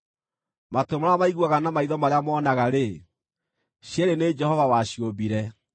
Matũ marĩa maiguaga na maitho marĩa monaga-rĩ, cierĩ nĩ Jehova waciũmbire.